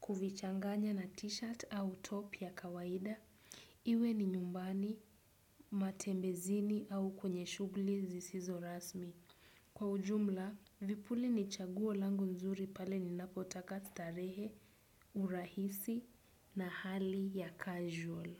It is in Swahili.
kuvichanganya na t-shirt au top ya kawaida. Iwe ni nyumbani, matembezini au kwenye shugli zisizo rasmi. Kwa ujumla, vipuli ni chaguo langu nzuri pale ninapotaka starehe, urahisi na hali ya casual.